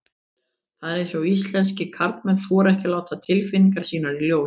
Það er eins og íslenskir karlmenn þori ekki að láta tilfinningar sínar í ljós.